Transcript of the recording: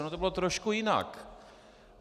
Ono to bylo trošku jinak.